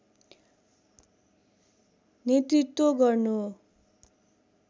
नेतृत्व गर्नु